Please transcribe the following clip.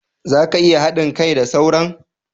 za ka iya hadin kai da sauran?